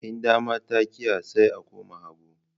In dama ta ƙiya, sai a koma hagu